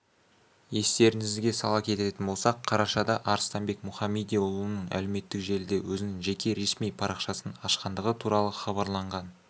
естеріңізге сала кететін болсақ қарашада арыстанбек мұхамедиұлының әлеуметтік желіде өзінің жеке ресми парақшасын ашқандығы туралы хабарланған